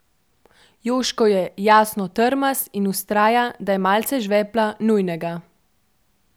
Večerni spored prinaša sosedsko poslastico med Nemčijo in Poljsko, na kateri se bo predstavilo ogromno zvezdnikov iz nemških klubov.